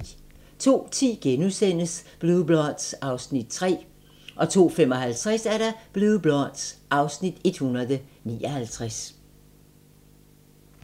02:10: Blue Bloods (Afs. 3)* 02:55: Blue Bloods (Afs. 159)